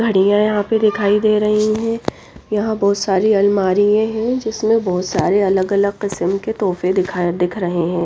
घड़ियां यहां पे दिखाई दे रही हैं यहां बहुत सारी अलमारी है जिसमें बहुत सारे अलग अलग किसम के तोहफे दिखाएं दिख रहे हैं।